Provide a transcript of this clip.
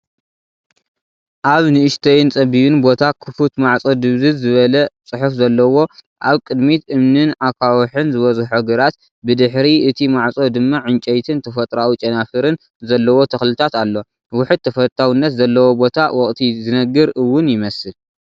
ኣብ ንእሽቶይ ጸቢብን ቦታ ክፉት ማዕጾ ድብዝዝ ዝበለ ፅሑፍ ዘለዎ ፣ ኣብ ቅድሚት እምንንን ኣኻውሕን ዝበዝሖ ግራት፡ ብድሕሪ እቲ ማዕጾ ድማ ዕንጨይትን ተፈጥሮኣዊ ጨናፍርን ዘለዎ ተኽልታት ኣሎ። ውሑድ ተፈታውነት ዘለዎ ቦታ፣ ወቕቲ ዝነግር ውን ይመስል።